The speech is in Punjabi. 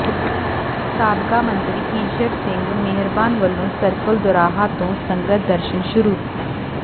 ਸਾਬਕਾ ਮੰਤਰੀ ਈਸ਼ਰ ਸਿੰਘ ਮਿਹਰਬਾਨ ਵੱਲੋਂ ਸਰਕਲ ਦੋਰਾਹਾ ਤੋਂ ਸੰਗਤ ਦਰਸ਼ਨ ਸ਼ੁਰੂ